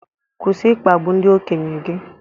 Kwụsị ịkpagbu ndị okenye gị